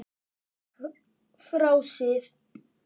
Frá síð